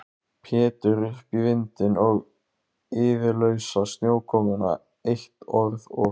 Pétur upp í vindinn og iðulausa snjókomuna, eitt orð og